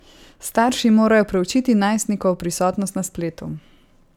Starši morajo preučiti najstnikovo prisotnost na spletu.